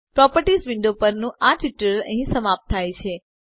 properties window પરનું આ tutorial અહીં સમાપ્ત થાય છે